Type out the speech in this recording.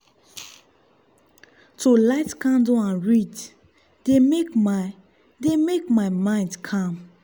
to light candle and read dey make my dey make my mind calm.